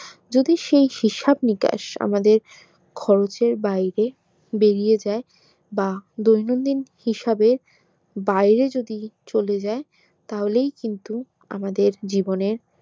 যদি সেই হিসাব নিকাশ আমাদের খরচের বাইরে বেরিয়ে যাই বা দৈনন্দিন হিসাবে বাইরে যদি চলে যাই তাহলেই কিন্তু আমাদের জীবনের